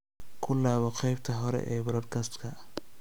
ku laabo qaybtii hore ee podcast-ka